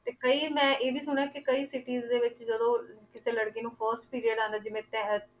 ਤੇ ਕਈ ਮੈਂ ਇਹ ਵੀ ਸੁਣਿਆ ਕਿ ਕਈ cities ਦੇ ਵਿੱਚ ਜਦੋਂ ਕਿਸੇ ਲੜਕੀ ਨੂੰ first period ਆਉਂਦਾ ਜਿਵੇਂ